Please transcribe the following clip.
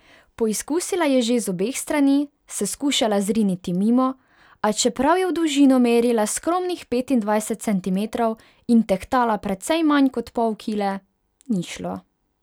Poizkusila je že z obeh strani, se skušala zriniti mimo, a čeprav je v dolžino merila skromnih petindvajset centimetrov in tehtala precej manj kot pol kile, ni šlo.